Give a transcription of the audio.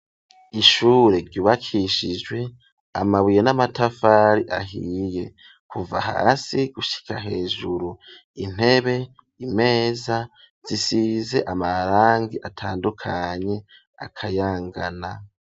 Ishure ryubakishijwe amabuye n'amatafari ahiye kuva hasi gushika hejuru, intebe ,imeza zisize amarangi atandukanye akayangana.